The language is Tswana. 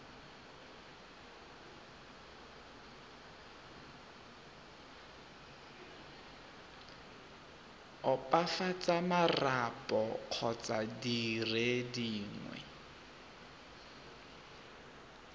opafatsa marapo kgotsa dire dingwe